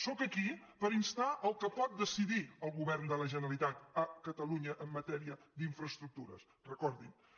sóc aquí per instar al que pot decidir el govern de la generalitat a catalunya en matèria d’infraestructures recordin ho